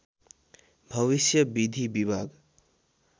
भविष्य विधि विभाग